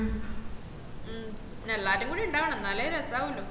മൂം പിന്ന എല്ലാരും കൂടി ഉണ്ടാവനം എന്നാലേ രസാവളൂ